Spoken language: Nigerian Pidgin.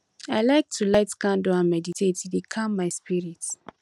i like to light candle and meditate e dey calm my spirit